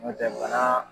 N'o tɛ bana